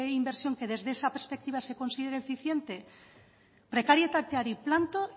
inversión que desde esa perspectiva se considere eficiente prekarietateari planto